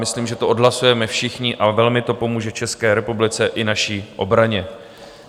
Myslím, že to odhlasujeme všichni, a velmi to pomůže České republice i naší obraně.